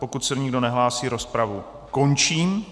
Pokud se nikdo nehlásí, rozpravu končím.